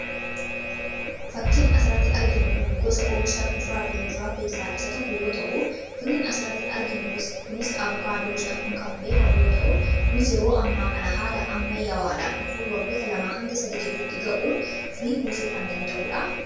Fakkiin asratti arginu kun gosa oomishaa kudraa fi muduraa keessaa isa tokko yoo ta'u firiin asratti arginu kunis avokaadoo jedhamuun kan beekamu yoo ta'u ,kunis yeroo ammaa kana haala amma yaawaadhaan dhufuun waggota lamaa hanga sadii giddutti ga'uun firii buusuu kan danda'uudha.